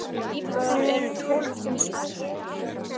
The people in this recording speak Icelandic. Íbúar eru um tólf þúsund.